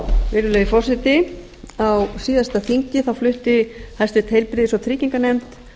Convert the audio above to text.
virðulegi forseti á síðasta þingi flutti háttvirtrar heilbrigðis og trygginganefnd